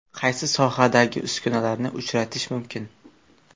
Qaysi sohadagi uskunalarni uchratish mumkin?